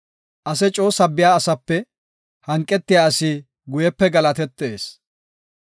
Ase coo sabbiya asape hanqetiya asi guyepe galatetees.